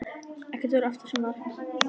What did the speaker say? Ekkert verður aftur sem var.